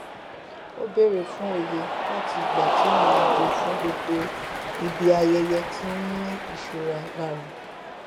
ó bèrè fún òye láti ìgbà tí ìrìn àjò fún gbogbo ibi ayẹyẹ ti n ni ìṣúná lára